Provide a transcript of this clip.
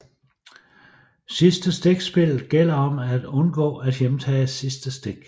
Sidste stik Spillet gælder om at undgå at hjemtage sidste stik